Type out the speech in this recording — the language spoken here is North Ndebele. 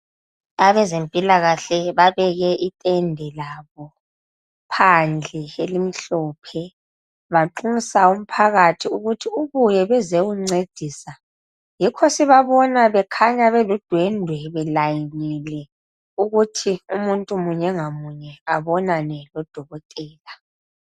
Abezempilakahle babeke itende labo phandle elimhlophe banxusa umphakathi ukuthi ubuye bezewuncedisa yikho sibabona bekhanya beludwendwe belayinile ukuthi umuntu munye ngamunye abonane lodokotela.